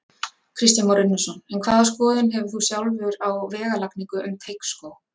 Kristján Már Unnarsson: En hvaða skoðun hefur þú sjálfur á vegalagningu um Teigsskóg?